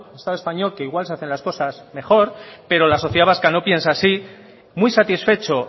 estado español que igual se hacen las cosas mejor pero la sociedad vasca no piensa así muy satisfecho